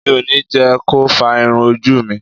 Mi ò ní jẹ́ ko fá irun ojú mi.